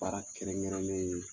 Baara kɛrɛnkɛrɛnnen ye